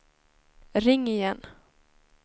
ring igen